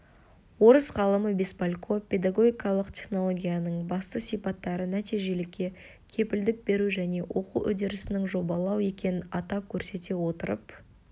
орыс ғалымы беспалько педагогикалық технологияның басты сипаттары нәтижелікке кепілдік беру және оқу үдерісінің жобалау екенін атап көрсете отырып